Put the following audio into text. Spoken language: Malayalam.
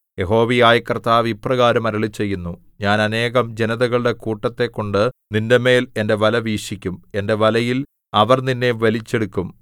യഹോവയായ കർത്താവ് ഇപ്രകാരം അരുളിച്ചെയ്യുന്നു ഞാൻ അനേകം ജനതകളുടെ കൂട്ടത്തെക്കൊണ്ട് നിന്റെമേൽ എന്റെ വല വീശിക്കും എന്റെ വലയിൽ അവർ നിന്നെ വലിച്ചെടുക്കും